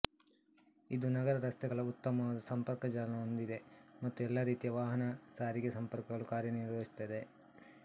ಇದು ನಗರ ರಸ್ತೆಗಳ ಉತ್ತಮ ಸಂಪರ್ಕಜಾಲವನ್ನು ಹೊಂದಿದೆ ಮತ್ತು ಎಲ್ಲಾ ರೀತಿಯ ವಾಹನ ಸಾರಿಗೆ ಸಂಪರ್ಕಗಳು ಕಾರ್ಯನಿರ್ವಹಿಸುತ್ತವೆ